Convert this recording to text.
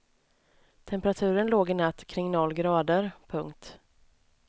Temperaturen låg i natt kring noll grader. punkt